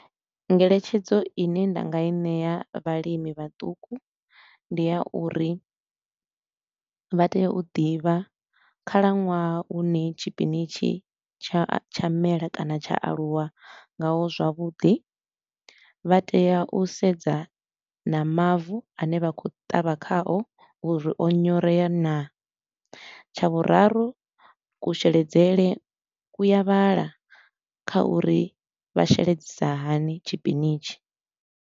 Ngeletshedzo ine nda nga i ṋea vhalimi vhaṱuku ndi ya uri vha tea u ḓivha khalaṅwaha hune tshipinitshi tsha tsha mela kana tsha aluwa ngaho zwavhuḓi, vha tea u sedza na mavu a ne vha khou ṱavha khao uri o nyorea naa. Tsha vhuraru, kusheledzele ku ya vhala kha uri vha sheledzisiwa hani tshipinitshi.